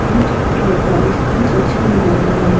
तीन टोरटॉइस तीन कछुए नजर आ रहे हैं।